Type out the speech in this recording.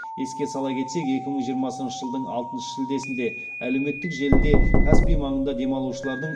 еске сала кетсек екі мың жиырмасыншы жылдың алтыншы шілдесінде әлеуметтік желіде каспий маңында демалушылардың